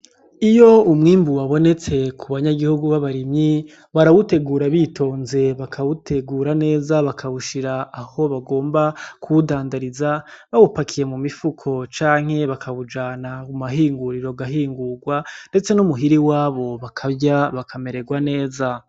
Iyo umwimbu wabonetse ku banyagihugu b'abarimyi barawutegura bitonze bakawutegura neza bakawushira aho bagomba kuwudandariza bawupakiye mu mifuko canke bakawujana mu mahinguriro agahingurwa ndetse no muhira iwabo bakarya bakamererwa neza.